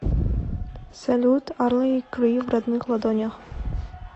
салют арли и гри в родных ладонях